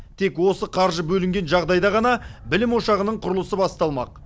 тек осы қаржы бөлінген жағдайда ғана білім ошағының құрылысы басталмақ